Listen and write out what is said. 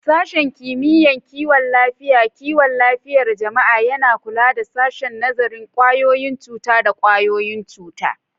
Sashen Kimiyyar Kiwon Lafiyar Kiwon Lafiyar Jama'a yana kula da Sashen Nazarin ƙwayoyin cuta da ƙwayoyin cuta.